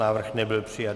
Návrh nebyl přijat.